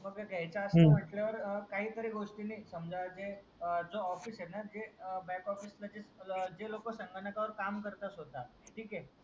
मग घ्यायचाय असं म्हंटल हम्म तर काही तरी गोष्टीनि समजा जे आ जो ऑफिस ए ना जे बॅक ऑफिस चे जे लोक संगणकावर काम करतात स्वतः ठीक ए